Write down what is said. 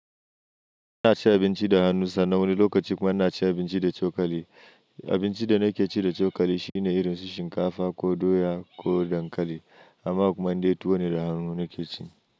Ina ci abinci da hannu sannan wani lokaci kuma ina ci abinci da cokali. Abinci da nake ci da cokali shine irin su shinkafa ko doya ko dankali amma kuma indai tuwo ne da hannu nake cin shi.